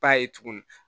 Ba ye tuguni